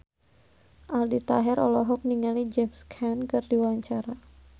Aldi Taher olohok ningali James Caan keur diwawancara